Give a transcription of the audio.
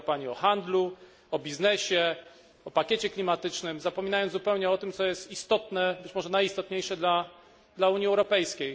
Mówiła pani o handlu, o biznesie, o pakiecie klimatycznym, zapominając zupełnie o tym, co jest istotne, być może najistotniejsze dla Unii Europejskiej.